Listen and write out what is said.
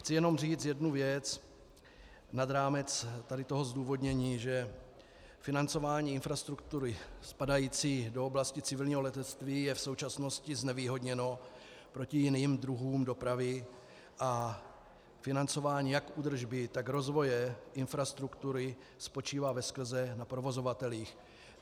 Chci jenom říct jednu věc nad rámec tady toho zdůvodnění, že financování infrastruktury spadající do oblasti civilního letectví je v současnosti znevýhodněno proti jiným druhům dopravy a financování jak údržby, tak rozvoje infrastruktury spočívá veskrze na provozovatelích.